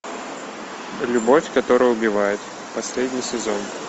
любовь которая убивает последний сезон